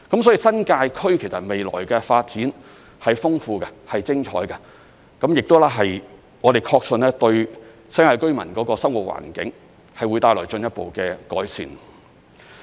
所以，新界區未來的發展是豐富的、是精彩的，我們亦確信有關發展會對新界居民的生活環境帶來進一步的改善。